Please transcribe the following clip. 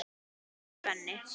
æpir Svenni.